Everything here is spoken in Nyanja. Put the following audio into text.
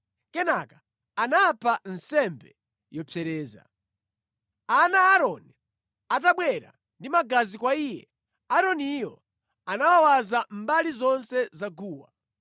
Kenaka anapha nsembe yopsereza. Ana a Aaroni atabwera ndi magazi kwa iye, Aaroniyo anawawaza mbali zonse za guwa.